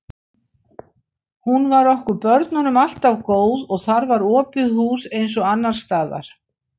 Hún var okkur börnunum alltaf góð og þar var opið hús eins og annars staðar.